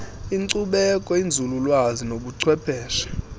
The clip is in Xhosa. inkcubeko inzululwazi nobuchwepheshe